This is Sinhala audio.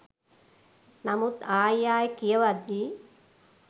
නමුත් ආයි ආයි කියවද්දි